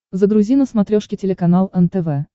загрузи на смотрешке телеканал нтв